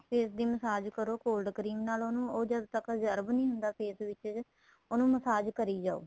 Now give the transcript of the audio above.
face ਦੀ massage ਕਰੋ cold cream ਨਾਲ ਉਹਨੂੰ ਜਦ ਤੱਕ observe ਨਹੀਂ ਹੁੰਦਾ face ਵਿੱਚ ਉਹਨੂੰ massage ਕਰੀ ਜਾਵੋ